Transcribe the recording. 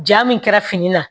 Ja min kɛra fini na